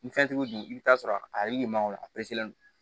Ni fɛn tigiw dun i bi t'a sɔrɔ a yiri ma o a